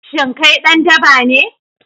Shin kai dan daba ne?